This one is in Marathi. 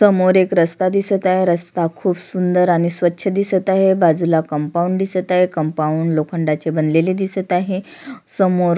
समोर एक रस्ता दिसत आहे रस्ता खुप सुंदर आणि स्वच्छ दिसत आहे बाजूला कंपाऊंड दिसत आहे कंपाऊंड लोखंडाचे बनलेले दिसत आहे समोर--